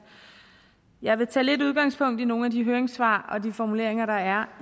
jeg vil tage lidt udgangspunkt i nogle høringssvar og de formuleringer der er